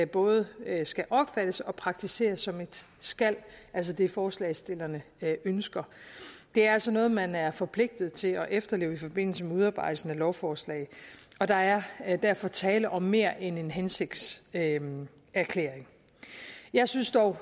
både skal opfattes og praktiseres som et skal altså det forslagsstillerne ønsker det er altså noget man er forpligtet til at efterleve i forbindelse med udarbejdelsen af lovforslag og der er er derfor tale om mere end en hensigtserklæring jeg synes dog